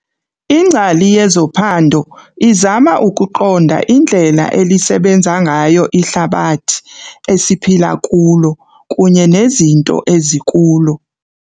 Ingcali yezophando izama ukuqonda indlela elisebenza ngayo ihlabathi esiphila kulo kunye nezinto ezikulo.